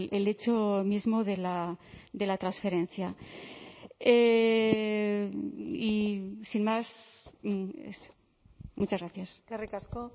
el hecho mismo de la transferencia y sin más muchas gracias eskerrik asko